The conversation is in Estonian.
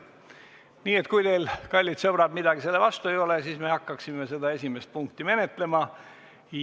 Nii et kui teil, kallid sõbrad, midagi selle vastu ei ole, siis me hakkaksime esimest punkti menetlema.